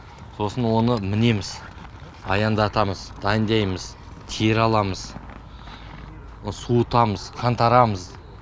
сосын оны мінеміз аяңдатамыз дайындаймыз тері аламыз суытамыз қаңтарамыз